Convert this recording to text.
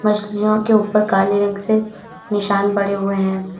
मछलियों के ऊपर काले रंग से निशान पड़े हुए हैं।